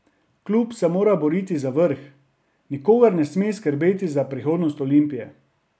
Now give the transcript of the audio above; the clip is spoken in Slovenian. Klub se mora boriti za vrh, nikogar ne sme skrbeti za prihodnost Olimpije.